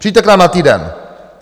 Přijďte k nám na týden.